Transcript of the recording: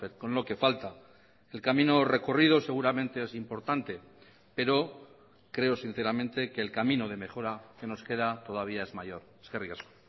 con lo que falta el camino recorrido seguramente es importante pero creo sinceramente que el camino de mejora que nos queda todavía es mayor eskerrik asko